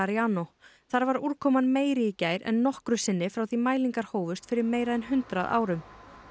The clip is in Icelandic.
Clariano þar var úrkoman meiri í gær en nokkru sinni frá því að mælingar hófust fyrir meira en hundrað árum